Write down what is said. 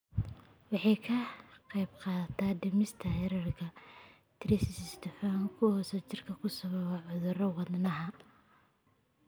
Waxay ka qaybqaadataa dhimista heerarka triglycerides, dufanka xun ee jirka oo sababi kara cudurrada wadnaha.